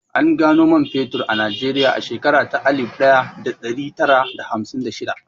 An gano man fetur a Najeriya a shekara ta alif ɗaya da ɗari tara da hamsin da shidda